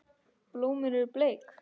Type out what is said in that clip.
Blómin eru bleik.